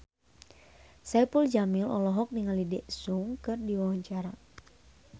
Saipul Jamil olohok ningali Daesung keur diwawancara